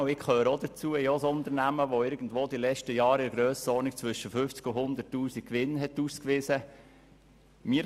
Ich habe auch ein Unternehmen, das in den letzten Jahren in der Grössenordnung von 50 000 und 100 000 Franken Gewinn ausgewiesen hat.